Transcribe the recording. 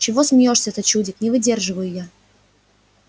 чего смеёшься-то чудик не выдерживаю я